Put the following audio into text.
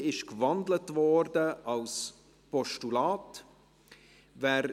Auch diese wurde in ein Postulat gewandelt.